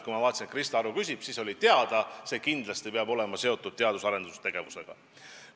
Kui ma nägin, et Krista Aru küsib, siis oli teada, et see kindlasti peab olema seotud teadus- ja arendustegevusega.